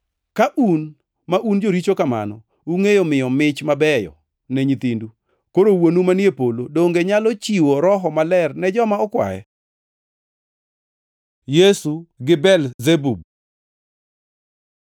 Ka un, ma un joricho kamano, ungʼeyo miyo mich mabeyo ne nyithindu, koro Wuonu manie polo donge nyalo chiwo Roho Maler ne joma okwaye.” Yesu gi Belzebub